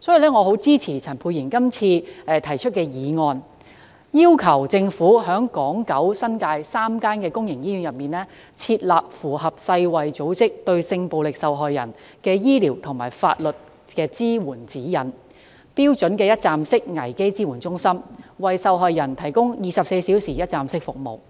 所以，我十分支持陳沛然議員今次提出的議案，要求政府在港島、九龍和新界3間公營醫院內，設立符合世界衞生組織發出的《對性暴力受害人之醫療及法律支援指引》的一站式危機支援中心，為受害人提供24小時一站式服務，並